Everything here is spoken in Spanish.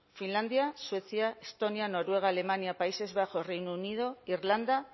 finlandia suecia estonia noruega alemania países bajos reino unido irlanda